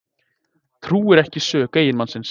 Trúir ekki sök eiginmannsins